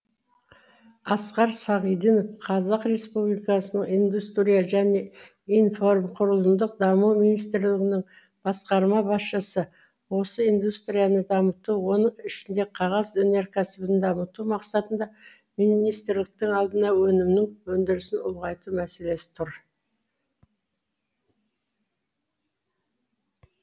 асқар сағиданов қазақ республикасы индустрия және инфрақұрылымдық даму министрлігінің басқарма басшысы осы индустрияны дамыту оның ішінде қағаз өнеркәсібін дамыту мақсатында министрліктің алдында өнімнің өндірісін ұлғайту мәселесі тұр